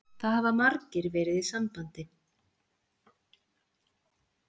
Það hafa margir verið í sambandi